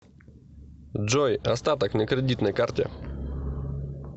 джой остаток на кредитной карте